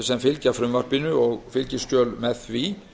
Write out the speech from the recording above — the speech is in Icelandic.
sem fylgja frumvarpinu og fylgiskjöl með því